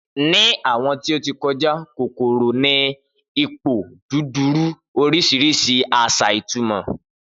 Ni awọn ti o ti kọja kokoro ni ipoduduro orisirisi asa itumo.